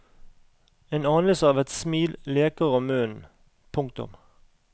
En anelse av et smil leker om munnen. punktum